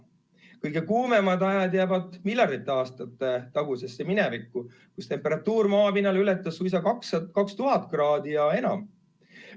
Kõige kuumemad ajad jäävad miljardite aastate tagusesse minevikku, kus temperatuur maapinnal ületas suisa 2000 kraadi ja enam.